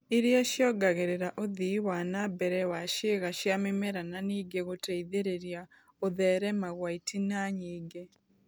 Iria ciongagĩrĩra ũthii wana mbere wa ciĩga cia mĩmera na nĩngĩ gũteithĩrĩria gũtherema gwa itina nyingĩ